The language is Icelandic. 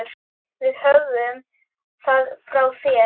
Við höfum það frá þér!